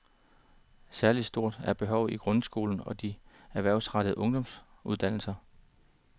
Særlig stort er behovet i grundskolen og de erhvervsrettede ungdomsuddannelser.